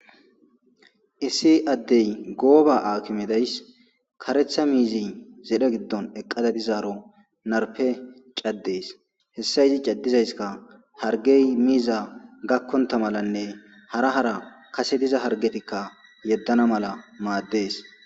Issi addey gooba akimedays karetha miizi zedhe giddon eqqada dizaaro narpe caddees hessa yiti caddizayska hargey miiza gakkonta malanne hara hara kase diza hargetikka yeddana mala maaddees.